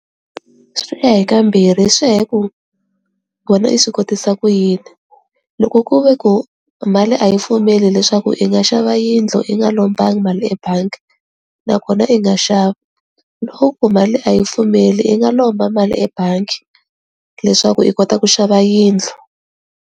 Swi ya hi ka mbirhi swi ya hi ku wena i swi kotisa ku yini loko ku ve ku mali a yi pfumeli leswaku i nga xava yindlu i nga lombanga mali ebangi nakona i nga xava loko mali a yi pfumeli i nga lomba mali ebangi leswaku i kota ku xava yindlu.